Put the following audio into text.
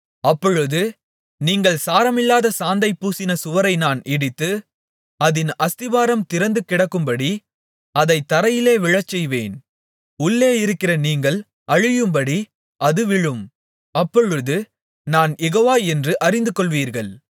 அப்பொழுது நீங்கள் சாரமில்லாத சாந்தைப் பூசின சுவரை நான் இடித்து அதின் அஸ்திபாரம் திறந்து கிடக்கும்படி அதைத் தரையிலே விழச்செய்வேன் உள்ளே இருக்கிற நீங்கள் அழியும்படி அது விழும் அப்பொழுது நான் யெகோவா என்று அறிந்துகொள்வீர்கள்